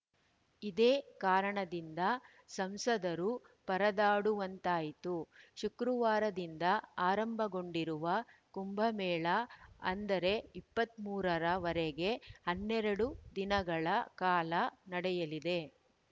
ಇದೇ ಕಾರಣದಿಂದ ಸಂಸದರು ಪರದಾಡುವಂತಾಯಿತು ಶುಕ್ರವಾರದಿಂದ ಆರಂಭಗೊಂಡಿರುವ ಕುಂಭ ಮೇಳ ಅಕ್ಟೋಬರ್ ಇಪ್ಪತ್ತ್ ಮೂರ ರ ವರೆಗೆ ಹನ್ನೆರಡು ದಿನಗಳ ಕಾಲ ನಡೆಯಲಿದೆ